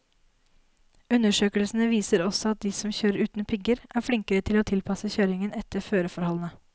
Undersøkelsene viser også at de som kjører uten pigger, er flinkere til å tilpasse kjøringen etter føreforholdene.